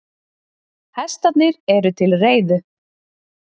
Hestarnir eru til reiðu.